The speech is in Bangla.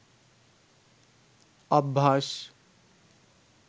অভ্যাস